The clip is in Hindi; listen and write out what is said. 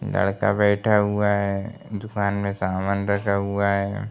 लड़का बैठा हुआ है दुकान में सामान रखा हुआ है।